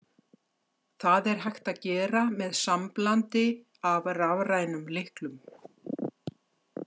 Það er hægt að gera með samblandi af rafrænum lyklum.